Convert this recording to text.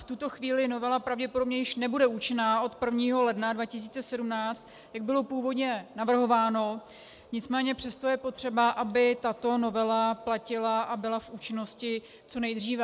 V tuto chvíli novela pravděpodobně již nebude účinná od 1. ledna 2017, jak bylo původně navrhováno, nicméně přesto je potřeba, aby tato novela platila a byla v účinnosti co nejdříve.